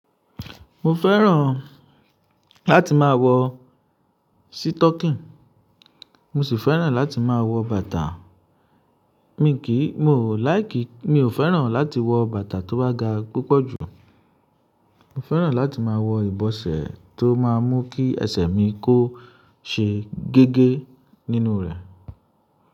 Mo fẹ́ràn láti máa wọ sítọ̀kìn, mo sì fẹ́ràn láti máa wọ bàtà. Mi kìí, mi ò like, mi ò fẹ́ràn láti wọ bàtà tó bá ga púpọ̀ jù. Mo fẹ́ràn láti máa wọ ìbọsẹ̀ tó máa mú kí ẹsẹ̀ mi kó ṣe gégé nínú rẹ̀.